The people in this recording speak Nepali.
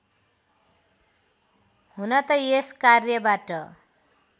हुन त यस कार्यबाट